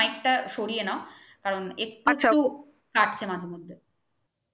mike টাক সরিয়ে নাও কারণ একটু ফাটছে মাঝে মধ্যে